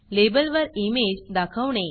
लेबलवर इमेज दाखवणे